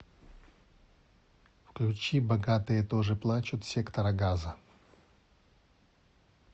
включи богатые тоже плачут сектора газа